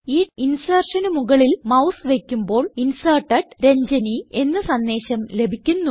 ഈ insertionന് മുകളിൽ മൌസ് വയ്ക്കുമ്പോൾ Inserted രഞ്ജനി എന്ന സന്ദേശം ലഭിക്കുന്നു